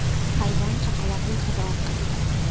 Hayvon chaqaloqni hidi orqali topgan.